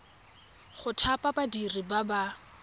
go thapa badiri ba ba